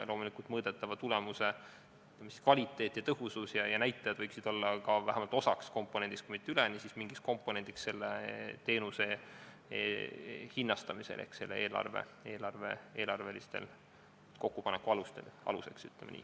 Loomulikult võiksid mõõdetava tulemuse kvaliteedi- ja tõhususenäitajad olla vähemalt selle teenuse hinnastamise komponendi osaks, kui mitte terveks selleks komponendiks ehk selle eelarvelise kokkupaneku aluseks, ütleme nii.